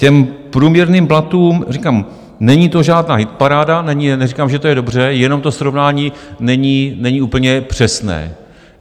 K průměrným platům říkám, není to žádná hitparáda, neříkám, že to je dobře, jenom to srovnání není úplně přesné.